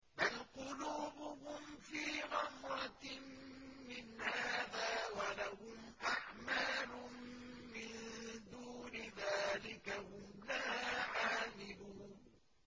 بَلْ قُلُوبُهُمْ فِي غَمْرَةٍ مِّنْ هَٰذَا وَلَهُمْ أَعْمَالٌ مِّن دُونِ ذَٰلِكَ هُمْ لَهَا عَامِلُونَ